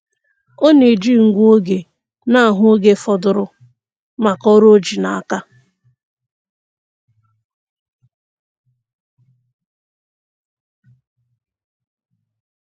Ọ na-eji ngụ oge na-ahụ oge fọdụrụ maka ọrụ o ji n'aka.